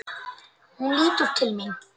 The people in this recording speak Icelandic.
Hún lítur til mín.